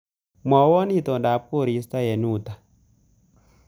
Mwawon itondab koristo eng uta